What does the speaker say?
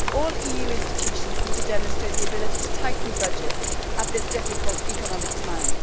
All EU institutions need to demonstrate the ability to tighten budgets at this difficult economic time.